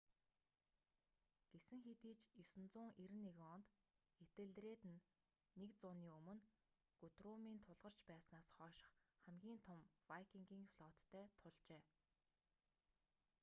гэсэн хэдий ч 991 онд этельред нь нэг зууны өмнө гутрумын тулгарч байснаас хойших хамгийн том вайкингийн флоттой тулжээ